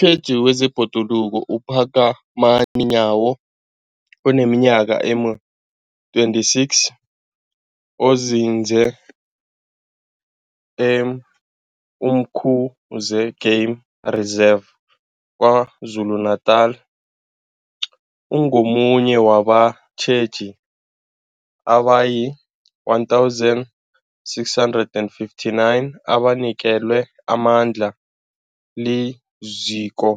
tjheji wezeBhoduluko uPhakamani Nyawo oneminyaka ema-26, onzinze e-Umkhuze Game Reserve KwaZulu-Natala, ungomunye wabatjheji abayi-1 659 abanikelwe amandla liZiko